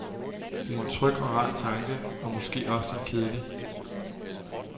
Det er en tryg og rar tanke, og måske også lidt kedelig.